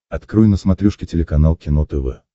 открой на смотрешке телеканал кино тв